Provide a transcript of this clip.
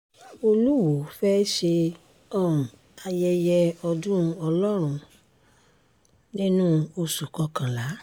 olùwọ́ọ́ fẹ́ẹ́ ṣe um ayẹyẹ ọdún ọlọ́run nínú oṣù kọkànlá